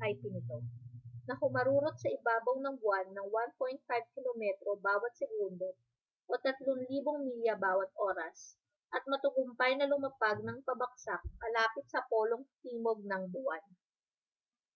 mip nito na humarurot sa ibabaw ng buwan nang 1.5 kilometro bawa't segundo 3000 milya bawa't oras at matagumpay na lumapag nang pabagsak malapit sa polong timog ng buwan